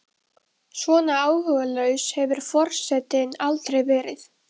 Það er bankað í botninn, hann tekur dýfu.